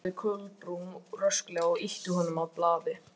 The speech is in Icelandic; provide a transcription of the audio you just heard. Sko- sagði Kolbrún rösklega og ýtti að honum blaði.